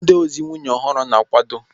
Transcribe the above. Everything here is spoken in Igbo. Ndị ozi nwunye ọhụrụ na-akwado